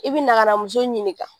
I bi na ka na muso ɲininka.